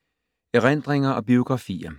Erindringer og biografier